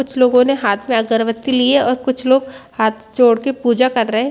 कुछ लोगो ने हाथ में अगरबत्ती ली है और कुछ लोग हाथ जोड़ के पूजा कर रहे है।